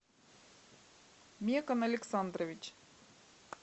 мекон александрович